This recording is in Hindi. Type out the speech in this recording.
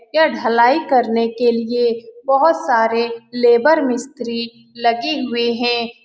यह ढलाई करने के लिए बहुत सारे लेबर मिस्त्री लगे हुए है।